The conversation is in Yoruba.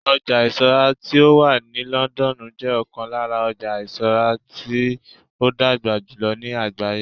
ọja isura ti o wa ni London jẹ okon lara ojo isura ti o dagba julọ ni àgbáyé